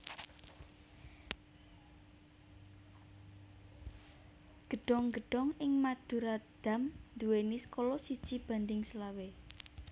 Gedhong gedhong ing Madurodam nduwèni skala siji banding selawe